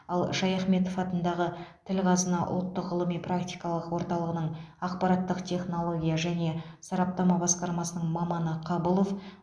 ал шаяхметов атындағы тіл қазына ұлттық ғылыми практикалық орталығының ақпараттық технология және сараптама басқармасының маманы қабылов